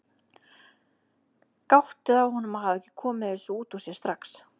Gáttuð á honum að hafa ekki komið þessu út úr sér strax.